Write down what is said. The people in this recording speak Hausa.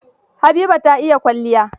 Habiba ta iya kwalliya